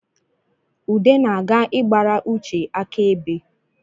Ude na-aga ịgbara Uche aka ebe